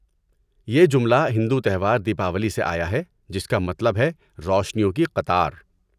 یہ جملہ ہندو تہوار دیپاولی سے آیا ہے، جس کا مطلب ہے 'روشنیوں کی قطار'۔